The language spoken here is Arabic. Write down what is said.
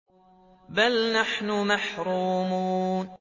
بَلْ نَحْنُ مَحْرُومُونَ